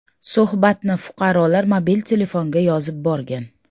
Suhbatni fuqarolar mobil telefonga yozib borgan.